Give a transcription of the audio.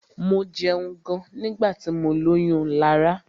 Mo jẹun gan nígbà tí mọ lóyún Lará.